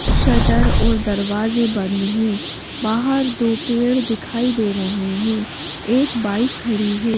Shutter और दरवाजे बंद हैं बाहर दो पेड़ दिखाई दे रहे हैं एक बाइक खड़ी हैं।